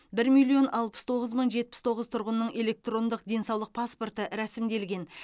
бір миллион алпыс тоғыз мың жетпіс тоғыз тұрғынның электрондық денсаулық паспорты рәсімделген